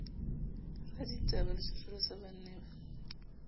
raditaba le tjhotjholosa ba ne